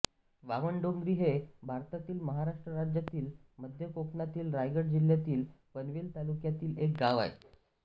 बामनडोंगरी हे भारतातील महाराष्ट्र राज्यातील मध्य कोकणातील रायगड जिल्ह्यातील पनवेल तालुक्यातील एक गाव आहे